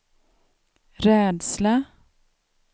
rädsla